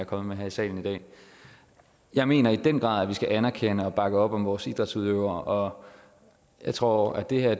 kommet med her i salen i dag jeg mener i den grad at vi skal anerkende og bakke op om vores idrætsudøvere og jeg tror at det her